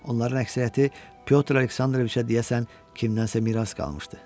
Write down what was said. Onların əksəriyyəti Pyotr Aleksandroviçə deyəsən kimsədən miras qalmışdı.